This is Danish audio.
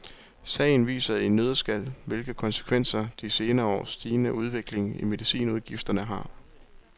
Sagen viser i en nøddeskal, hvilke konsekvenser de senere års stigende udvikling i medicinudgifterne har.